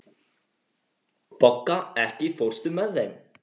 Bogga, ekki fórstu með þeim?